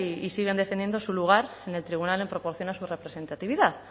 y siguen defendiendo su lugar en el tribunal en proporción a su representatividad